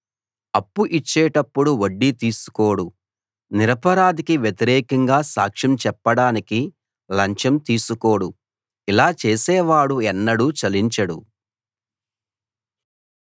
అప్పు ఇచ్చేటప్పుడు వడ్డీ తీసుకోడు నిరపరాధికి వ్యతిరేకంగా సాక్ష్యం చెప్పడానికి లంచం తీసుకోడు ఇలా చేసేవాడు ఎన్నడూ చలించడు